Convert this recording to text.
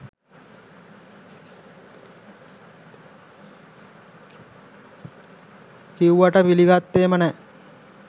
කිව්වට පිලිගත්තෙම නෑ